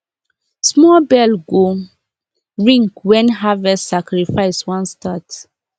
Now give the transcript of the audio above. small bell go ring when harvest sacrifice wan start